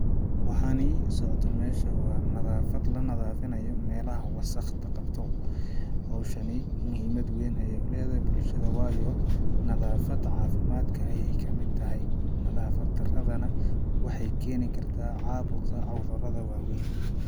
Waxani socdo meesha waa nadaafad la nadaafinayo meelaha wasaqda qabto ,hawshani muhimad weyn ayeey u leedahay bulshada waayo caafimadka ayeey kamid tahay ,nadaafad daradana waxeey keeni kartaa caabuqa cudurada waa weyn.